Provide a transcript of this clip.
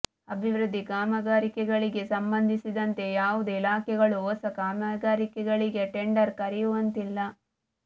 ಅಭಿವೃದ್ಧಿ ಕಾಮಗಾರಿಗಳಿಗೆ ಸಂಬಂಧಿಸಿದಂತೆ ಯಾವುದೇ ಇಲಾಖೆಗಳು ಹೊಸ ಕಾಮಗಾರಿಗಳಿಗೆ ಟೆಂಡರ್ ಕರೆಯುವಂತಿಲ್ಲ